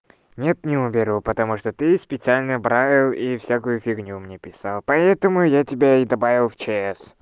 нет не уберу потому что ты специально правил и всякую фигню мне писал поэтому я тебя и добавил в чс